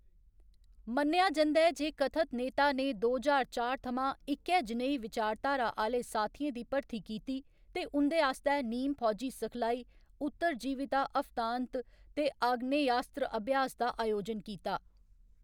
मन्नेआ जंदा ऐ जे कथत नेता ने दो ज्हार चार थमां इक्कै जनेही विचारधारा आह्‌‌‌ले साथियें दी भर्थी कीती ते उं'दे आस्तै नीम फौजी सिखलाई, उत्तरजीविता हफ्ता अंत ते आग्नेयास्त्र अभ्यास दा अयोजन कीता।